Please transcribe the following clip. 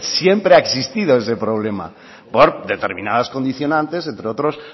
siempre ha existido ese problema por determinadas condicionantes entre otros